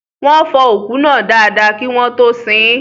Wọ́n fọ òkú náà dada kí wọ́n tó ṣín